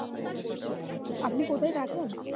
আপনি কোথায় থাকেন?